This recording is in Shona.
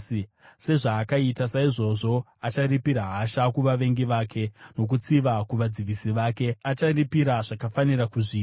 Sezvavakaita, saizvozvo acharipira hasha kuvavengi vake nokutsiva kuvadzivisi vake; acharipira zvakafanira kuzviwi.